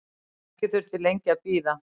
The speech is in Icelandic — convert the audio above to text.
Ekki þurfti lengi að bíða.